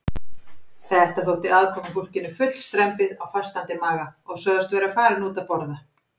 Þetta þótti aðkomufólkinu full strembið á fastandi maga og sögðust vera farin út að borða.